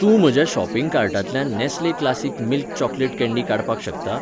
तूं म्हज्या शॉपिंग कार्टांतल्यान Nestle classic milk chocolate candy काडपाक शकता?